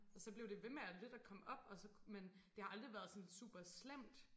Og så blev det ved med at lidt at komme op og så men det har aldrig været sådan super slemt